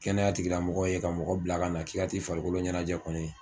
Kɛnɛya tigilamɔgɔ ye ka mɔgɔ bila ka na k'i ka ti farikolo ɲɛnajɛ kɔni